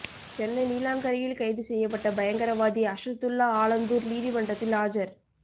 சென்னை நீலாங்கரையில் கைது செய்யப்பட்ட பயங்கரவாதி அஷத்துல்லா ஆலந்தூர் நீதிமன்றத்தில் ஆஜர்